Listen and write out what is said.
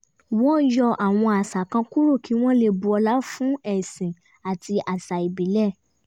wọ́n yọ àwọn àṣà kan kúrò kí wọ́n lè bu ọlá fún ẹ̀sìn àti àṣà ìbílẹ̀